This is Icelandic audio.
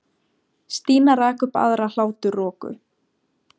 Stína rak upp aðra hláturroku.